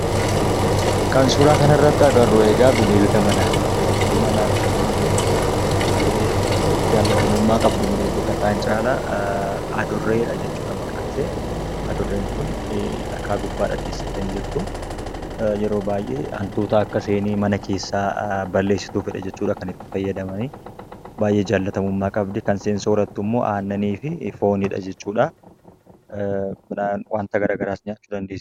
Kan suuraa kana irratti agarru egaa bineelda manaati. Bineeldi manaa kuni yeroo baayyee jaallatamummaa qabdu bineeldota kaan caalaa adurreedha jechuudha maqaan ishee. Adurreen kunii dhagaa gubbaadha teessee kan jirtuu, yeroo baayyee hantuuta akka isheen mana keessaa balleessituufidha kan fayyadamanii, baayyee jaallatamummaa qabdii, kan isheen soorrattu immoo annanii fi foonidha jechuudha. Kan biraa waanta garaagaraa nyaachuu dandeessi.